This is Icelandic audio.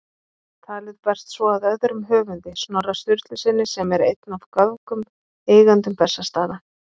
Talið berst svo að öðrum höfundi, Snorra Sturlusyni, sem er einn af göfugum eigendum Bessastaða.